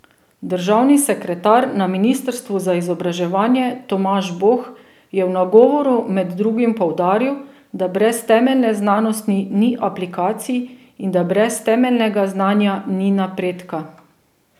Državni sekretar na ministrstvu za izobraževanje Tomaž Boh je v nagovoru med drugim poudaril, da brez temeljne znanosti ni aplikacij in da brez temeljnega znanja ni napredka.